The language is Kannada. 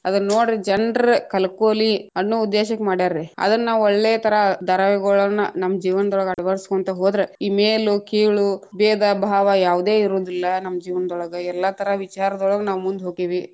ಅದನ್ನೋಡ್ರೀ ಜನ್ರ ಕಲ್ಕೋಲಿ ಅನ್ನೋ ಉದ್ದೇಶಕ್ಕ ಮಡ್ಯಾರ್ರೀ, ಅದನ್ನಾವ್‌ ಒಳ್ಳೆಥರಾ ಧಾರಾವಾಹಿಗುಳನ್ನ ನಮ್ಮ ಜೀವನದೊಳಗ್‌ ಅಳವಡಸಕೊಂತ ಹೋದ್ರ, ಈ ಮೇಲು ಕೀಳು ಭೇದ ಭಾವ ಯಾವದೇ ಇರೋದಿಲ್ಲಾ ನಮ್ಮ ಜೀನವನ್ದೋಳಗ್‌ ಎಲ್ಲಾ ಥರಾ ವಿಚಾರದೊಳಗ್‌ ನಾವ್‌ ಮುಂದ ಹೋಗೆವಿ.